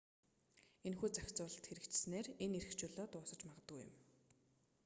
энэхүү зохицуулалт хэрэгжсэнээр энэ эрх чөлөө дуусаж магадгүй юм